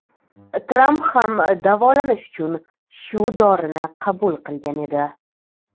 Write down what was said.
Tramp ham davolanish uchun shu dorini qabul qilgan edi.